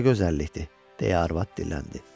Buna gözəllikdir, deyə arvad dilləndi.